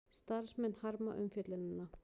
Starfsmenn harma umfjöllunina